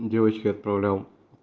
девочки отправлял